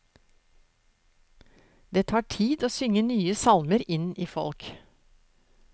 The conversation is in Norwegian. Det tar tid å synge nye salmer inn i folk.